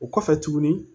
O kɔfɛ tuguni